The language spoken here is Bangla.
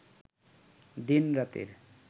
দিন-রাতের